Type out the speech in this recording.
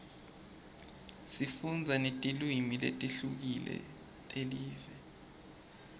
sifundza netilwimi letihlukile telive